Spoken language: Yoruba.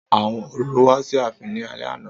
Àwọn orò wá sí ààfin ní alẹ́ àná